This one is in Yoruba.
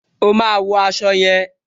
O máa wo aṣọ yẹn.